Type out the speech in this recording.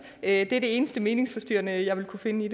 det er det eneste meningsforstyrrende jeg vil kunne finde i